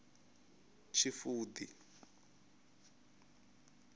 tshifudi